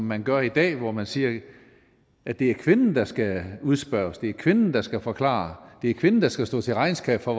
man gør i dag hvor man siger at det er kvinden der skal udspørges at det er kvinden der skal forklare det er kvinden der skal stå til regnskab for